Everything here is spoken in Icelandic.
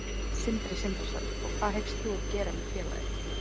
Sindri Sindrason: Hvað hyggst þú gera með félagið?